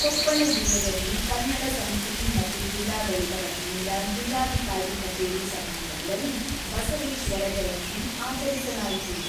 ಕೊಪ್ಪಳ ಜಿಲ್ಲೆಯಲ್ಲಿ ಕನ್ನಡ ಸಂಸ್ಕೃತಿ ಮತ್ತು ಜಿಲ್ಲಾಡಳಿತ ವತಿಯಿಂದ ಜಿಲ್ಲಾಧಿಕಾರಿ ಕಚೇರಿ ಸಭಾಂಗಣದಲ್ಲಿ ಬಸವೇಶ್ವರ ಜಯಂತಿ ಆಚರಿಸಲಾಯಿತು.